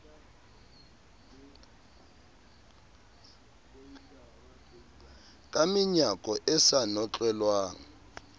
ka menyako e sa notlelwang